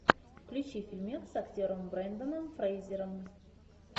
включи фильмец с актером брендоном фрейзером